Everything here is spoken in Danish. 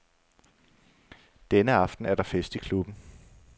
Denne aften er der fest i klubben.